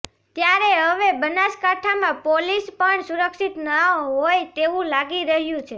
ત્યારે હવે બનાસકાંઠામાં પોલીસ પણ સુરક્ષિત ન હોય તેવુ લાગી રહ્યુ છે